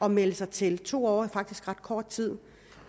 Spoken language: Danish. at melde sig til to år er faktisk ret kort tid